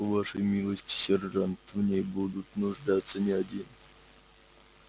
по вашей милости сержант в ней будут нуждаться не один